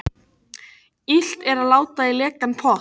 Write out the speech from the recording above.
Illt er láta í lekan pott.